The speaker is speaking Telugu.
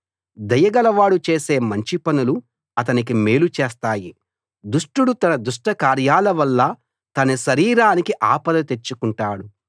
దయగలవాడు చేసే మంచి పనులు అతనికి మేలు చేస్తాయి దుష్టుడు తన దుష్ట కార్యాలవల్ల తన శరీరానికి ఆపద తెచ్చుకుంటాడు